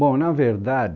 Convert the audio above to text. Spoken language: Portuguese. Bom, na verdade,